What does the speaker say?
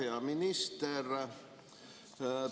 Hea minister!